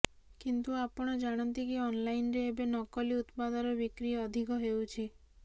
କିନ୍ତୁ ଆପଣ ଜାଣନ୍ତି କି ଅନଲାଇନରେ ଏବେ ନକଲି ଉତ୍ପାଦର ବିକ୍ରି ଅଧିକ ହେଉଛି